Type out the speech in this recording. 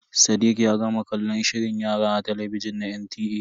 Sadiq ya gama kallon shirin yara a talabijin na NTA.